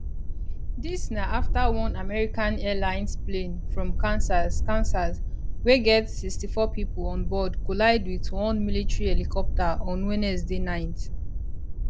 dis na afta one american airlines plane from kansas kansas wey get 64 pipo onboard collide wit one military helicopter on wednesday night